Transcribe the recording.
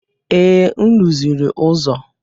Ee, m rụziri ụzọ.